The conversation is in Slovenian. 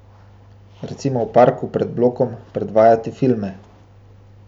Recimo v parku pred blokom predvajati filme.